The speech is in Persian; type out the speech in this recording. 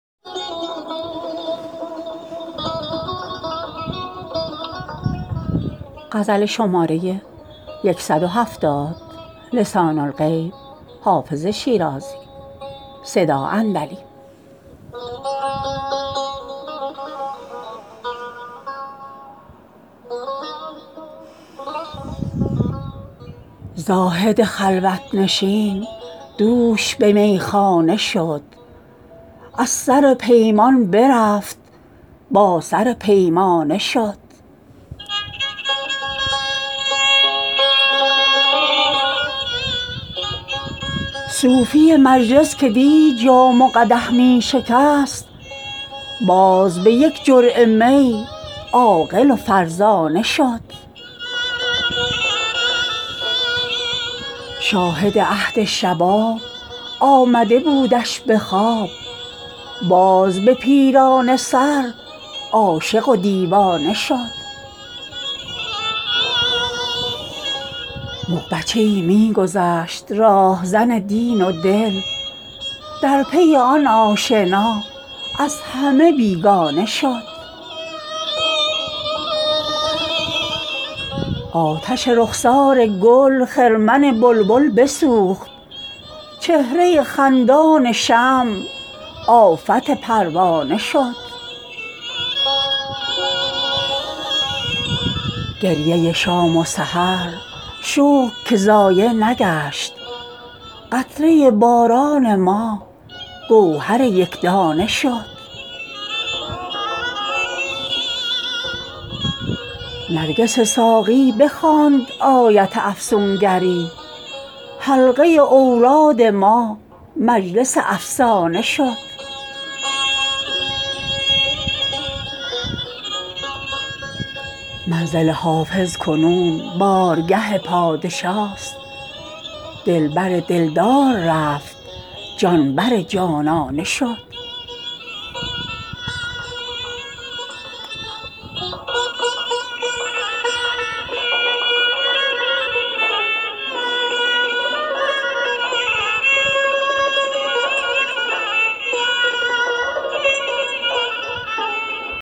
زاهد خلوت نشین دوش به میخانه شد از سر پیمان برفت با سر پیمانه شد صوفی مجلس که دی جام و قدح می شکست باز به یک جرعه می عاقل و فرزانه شد شاهد عهد شباب آمده بودش به خواب باز به پیرانه سر عاشق و دیوانه شد مغ بچه ای می گذشت راهزن دین و دل در پی آن آشنا از همه بیگانه شد آتش رخسار گل خرمن بلبل بسوخت چهره خندان شمع آفت پروانه شد گریه شام و سحر شکر که ضایع نگشت قطره باران ما گوهر یک دانه شد نرگس ساقی بخواند آیت افسون گری حلقه اوراد ما مجلس افسانه شد منزل حافظ کنون بارگه پادشاست دل بر دل دار رفت جان بر جانانه شد